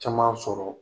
Caman sɔrɔ